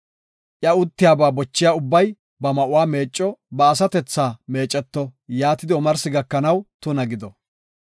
Iya uttiyaba bochiya ubbay ba ma7uwa meecco; ba asatethaa meeceto; yaatidi omarsi gakanaw tuna gido.